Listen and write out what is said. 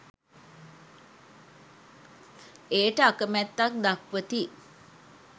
එයට අකැමැත්තක් දක්වති.